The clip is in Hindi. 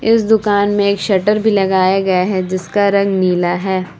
इस दुकान में एक शटर भी लगाया गया है जिसका रंग नीला है।